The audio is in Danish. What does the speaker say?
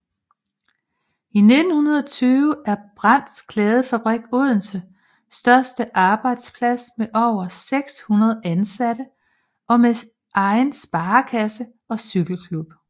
I 1920 er Brandts Klædefabrik Odenses største arbejdsplads med over 600 ansatte med egen sparekasse og cykelklub